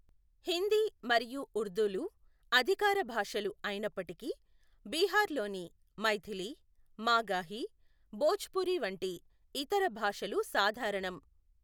హిందీ మరియు ఉర్దూలు అధికార భాషలు అయినప్పటికీ, బీహార్లోని మైథిలి, మాగాహి, భోజ్పురి వంటి ఇతర భాషలు సాధారణం.